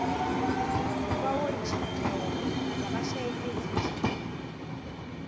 kwawonjiniyela zabashayeli bezinjini